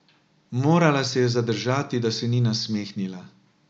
Morala se je zadržati, da se ni nasmehnila.